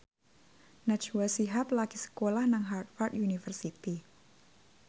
Najwa Shihab lagi sekolah nang Harvard university